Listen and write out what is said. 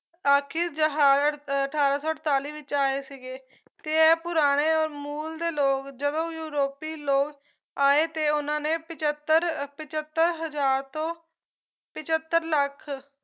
ਆਖਿਰ ਜਹਾਜ਼ ਅਠਾਰਾਂ ਸੌ ਅੜਤਾਲੀ ਵਿੱਚ ਆਏ ਸੀਗੇ ਤੇ ਇਹ ਪੁਰਾਣੇ ਔਰ ਮੂਲ ਦੇ ਲੋਕ ਜਦੋਂ ਯੂਰੋਪੀ ਲੋਕ ਆਏ ਤੇ ਉਹਨਾਂ ਨੇ ਪਚੱਤਰ ਪਚੱਤਰ ਹਜ਼ਾਰ ਤੋਂ ਪਚੱਤਰ ਲੱਖ